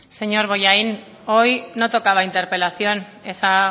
señor bollain hoy no tocaba interpelación esa